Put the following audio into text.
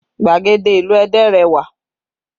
Gbàgede ìlú Ẹdẹ rẹwà